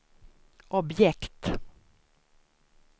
objekt